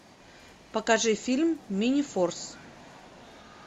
покажи фильм минифорс